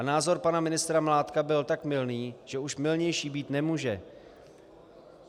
A názor pana ministra Mládka byl tak mylný, že už mylnější být nemůže.